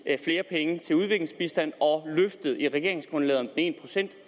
flere penge til udviklingsbistand og løftet i regeringsgrundlaget om en procent